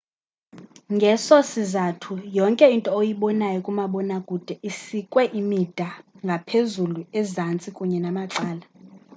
ngeso sizathu yonke into oyibonayo kumabonakude isikwe imida ngaphezulu ezantsi kunye namacala